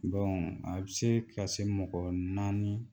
a bɛ se ka se mɔgɔ naani